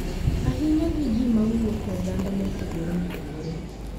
ahinya gi ji ma wuok e oganda mopogore opogore